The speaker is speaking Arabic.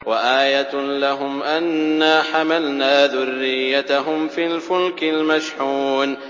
وَآيَةٌ لَّهُمْ أَنَّا حَمَلْنَا ذُرِّيَّتَهُمْ فِي الْفُلْكِ الْمَشْحُونِ